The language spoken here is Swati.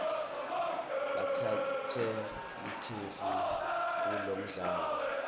batsatse likefu kulomdlalo